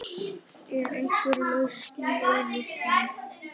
Er einhver lausn í augsýn?